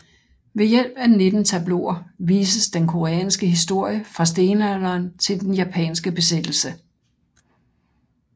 Ved hjælp af 19 tableauer vises den koreanske historie fra stenalderen til den japanske besættelse